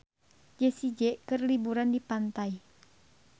Jessie J keur liburan di pantai